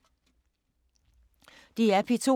DR P2